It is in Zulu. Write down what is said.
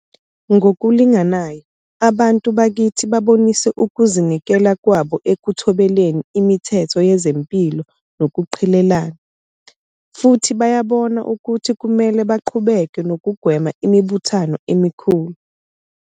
Ngokulinganayo, abantu bakithi babonise ukuzi nikela kwabo ekuthobeleni imithetho yezempilo nokuqhelelana. Futhi bayabona ukuthi kumele baqhubeke nokugwema imibuthano emikhulu.